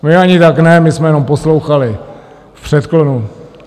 My ani tak ne, my jsme jenom poslouchali, v předklonu.